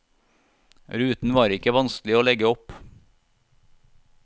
Ruten var ikke vanskelig å legge opp.